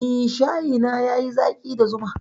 Eh, shayi na yayi zaƙi da zuma.